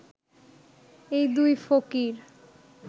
এই দুই ফকির